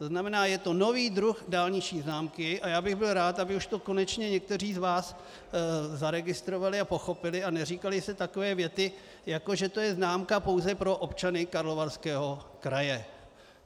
To znamená, je to nový druh dálniční známky a já bych byl rád, aby už to konečně někteří z vás zaregistrovali a pochopili a neříkaly se takové věty, jako že to je známka pouze pro občany Karlovarského kraje.